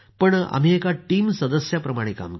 आम्ही एका टीमप्रमाणे काम केलं